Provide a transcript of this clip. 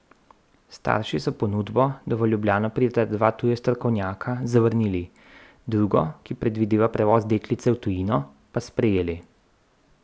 Starši so ponudbo, da v Ljubljano prideta dva tuja strokovnjaka, zavrnili, drugo, ki predvideva prevoz deklice v tujino, pa sprejeli.